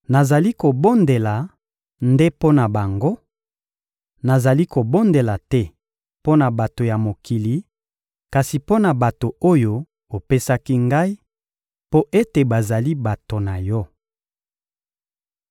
Nazali kobondela nde mpo na bango; nazali kobondela te mpo na bato ya mokili, kasi mpo na bato oyo opesaki Ngai, mpo ete bazali bato na Yo.